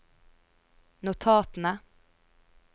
notatene